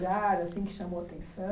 Lugar assim que chamou